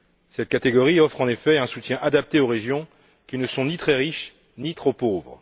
Cette catégorie offre en effet un soutien adapté aux régions qui ne sont ni très riches, ni trop pauvres.